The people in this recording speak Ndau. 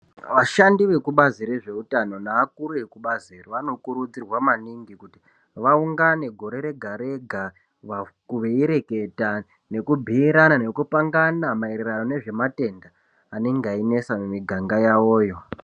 Vashandi vekubazi rezveutano neakuru ekubazi iri vanokurudzirwa maningi kuti vaungane gore rega-rega, veireketa nekubhiirana nekupangana maererano nezvematenda anenge einesa mumiganga yawoyo.